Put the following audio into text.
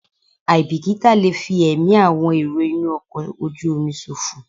Àìbìkítà lè fi ẹ̀mí àwọn èrò inú ọkọ̀ ojú omi ṣòfò.